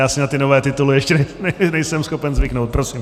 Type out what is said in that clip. Já si na ty nové tituly ještě nejsem schopen zvyknout. Prosím.